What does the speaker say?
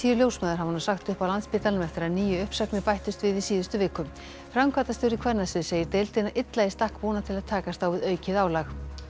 ljósmæður hafa nú sagt upp á Landspítalanum eftir að níu uppsagnir bættust við í síðustu viku framkvæmdastjóri kvennasviðs segir deildina illa í stakk búna til að takast á við aukið álag